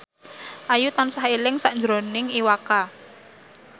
Ayu tansah eling sakjroning Iwa K